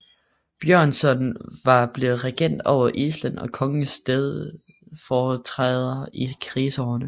Björnsson var blevet regent over Island og kongens stedfortræder i krigsårene